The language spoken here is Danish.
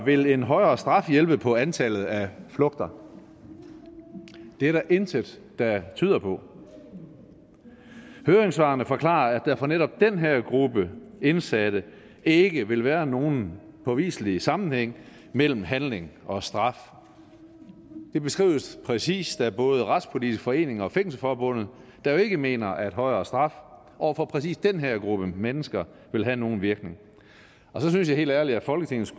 vil en højere straf hjælpe på antallet af flugter det er der intet der tyder på høringssvarene forklarer at der for netop den her gruppe af indsatte ikke vil være nogen påviselig sammenhæng mellem handling og straf det beskrives præcist af både retspolitisk forening og fængselsforbundet der jo ikke mener at højere straf over for præcis den her gruppe mennesker vil have nogen virkning og så synes jeg helt ærligt at folketinget